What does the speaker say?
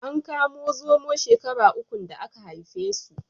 An kamo zomo shekara ukun da aka haife su.